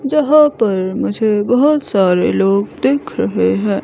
जहा पर मुझे बहोत सारे लोग दिख रहे है।